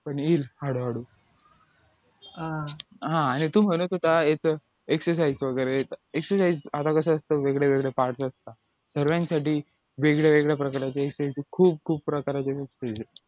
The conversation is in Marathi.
पण येईल हळूहळू आणि हा तू म्हणत होता याचं exercise वगैरे exercise आता कसअसत वेगवेगळे parts असतात सगळ्यांसाठी वेगळ्या वेगळ्या प्रकारचे खूप खूप प्रकार